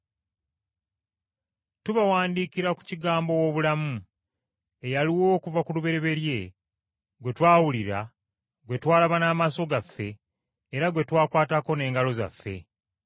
Tubawandiikira ku Kigambo ow’obulamu, eyaliwo okuva ku lubereberye, gwe twawulira, gwe twalaba n’amaaso gaffe, era gwe twakwatako n’engalo zaffe.